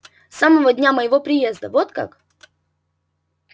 с самого дня моего приезда вот как